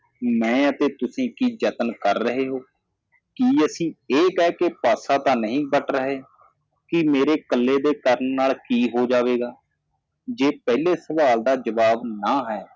ਮੈਂ ਅਤੇ ਤੁਸੀਂ ਕਿ ਜਤਨ ਕਰ ਰਹੇ ਹੋ ਕਿ ਅਸੀ ਇਹ ਕਹਿ ਕੇ ਪਾਸਾ ਤਾਂ ਨਹੀ ਵੱਟ ਰਹੇ ਕਿ ਮੇਰੇ ਇਕੱਲੇ ਦੇ ਕਰਣ ਨਾਲ ਕੀ ਹੋ ਜਾਵੇਗਾ ਜੇ ਪਹਿਲੇ ਸਵਾਲ ਦਾ ਜਵਾਬ ਨਾ ਹੈ